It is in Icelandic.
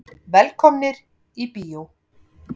Velkomnir í bíó.